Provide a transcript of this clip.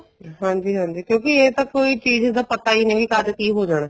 ਹਾਂਜੀ ਹਾਂਜੀ ਕਿਉਂਕਿ ਇਹ ਤਾਂ ਕੋਈ ਚੀਜ਼ ਦਾ ਪਤਾ ਹੀ ਨਹੀਂ ਕਦ ਕੀ ਹੋ ਜਾਣਾ